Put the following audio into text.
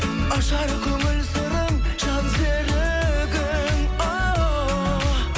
ажар көңіл сырың жан серігің